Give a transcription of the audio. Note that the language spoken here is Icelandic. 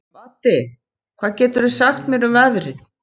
Baddi, hvað geturðu sagt mér um veðrið?